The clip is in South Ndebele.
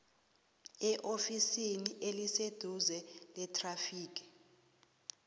eofisini eliseduze lethrafigi